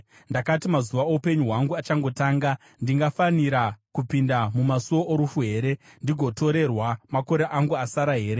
Ndakati, “Mazuva oupenyu hwangu achangotanga ndingafanira kupinda mumasuo orufu here? Ndigotorerwa makore angu asara here?”